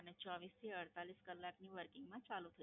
અને ચોવીસ થી અડતાલીસ કલાકની Working માં ચાલુ